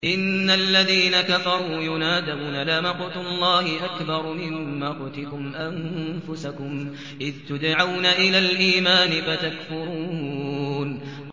إِنَّ الَّذِينَ كَفَرُوا يُنَادَوْنَ لَمَقْتُ اللَّهِ أَكْبَرُ مِن مَّقْتِكُمْ أَنفُسَكُمْ إِذْ تُدْعَوْنَ إِلَى الْإِيمَانِ فَتَكْفُرُونَ